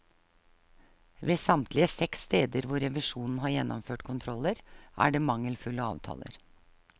Ved samtlige seks steder hvor revisjonen har gjennomført kontroller, er det mangelfulle avtaler.